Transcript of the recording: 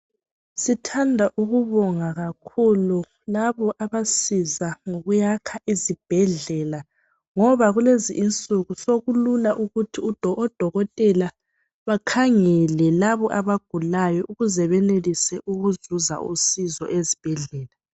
Sithanda ukubonga kakhulu labo abasiza ngoyakwakha izibhedlela ngoba kulezi insuku sokulula ukuthi odokotela bakhangele labo abagulayo ukuze benelise ukuzuza usizo ezibhedlela.